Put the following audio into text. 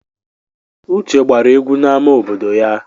Uche gbara egwu n'amá obodo ya.